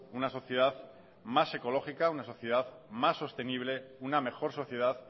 una sociedad más ecológica una sociedad más sostenible una mejor sociedad